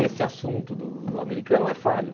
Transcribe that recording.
esse assunto do do americano é falho.